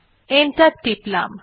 enter টিপলাম